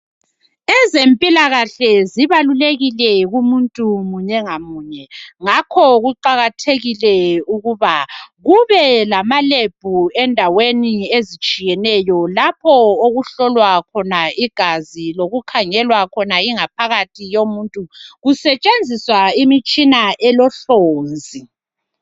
ezempilakahle zibalulekile kumuntu munye ngamunye ngakho kuqakathekile ukuba kube lama lab endaweni ezitshiyeneyo lapho okuhlolwa khona igazi lokukhangelwa khona ingaphakathi yomuntu kuseshenziswa imitshina elohlonzi